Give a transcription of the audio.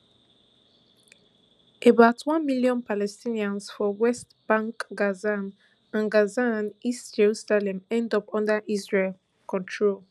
about one million palestinians for west bank gaza and gaza and east jerusalem end up under israel control